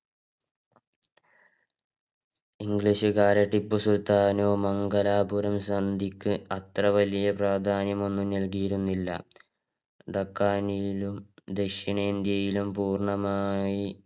english കാരെ ടിപ്പു സുൽത്താൻ മംഗലാപുരം സന്ധിക്ക് വലിയ പ്രാധാനമൊന്നും നല്കിയിരുന്നില്ല ഡകാണിയിലും ദക്ഷിണേന്ത്യയിലും പൂർണമായി